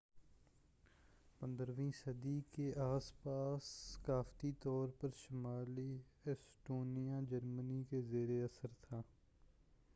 15 ویں صدی کے اس پاس ثقافتی طور پر شمالی ایسٹونیا جرمنی کے زیر اثر تھا